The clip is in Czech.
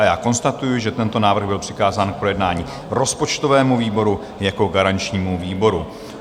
A já konstatuji, že tento návrh byl přikázán k projednání rozpočtovému výboru jako garančnímu výboru.